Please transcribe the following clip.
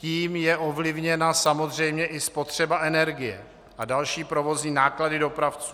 Tím je ovlivněna samozřejmě i spotřeba energie a další provozní náklady dopravců.